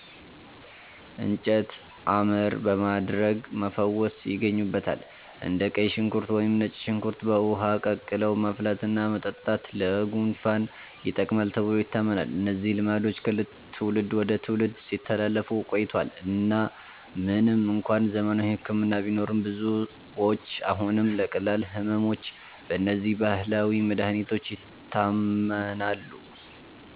“እንጨት አመር” በማድረግ መፈወስ ይገኙበታል። እንደ ቀይ ሽንኩርት ወይም ነጭ ሽንኩርት በውሃ ቀቅለው ማፍላትና መጠጣት ለጉንፋን ይጠቅማል ተብሎ ይታመናል። እነዚህ ልማዶች ከትውልድ ወደ ትውልድ ሲተላለፉ ቆይተዋል እና ምንም እንኳን ዘመናዊ ሕክምና ቢኖርም፣ ብዙዎች አሁንም ለቀላል ሕመሞች በእነዚህ ባህላዊ መድኃኒቶች ይታመናሉ።